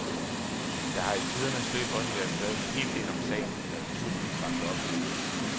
Der har i tidernes løb også været skrevet en hel del om sagen, der naturligvis vakte opsigt.